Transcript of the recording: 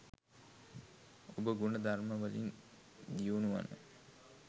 ඔබ ගුණ ධර්ම වලින් දියුණු වන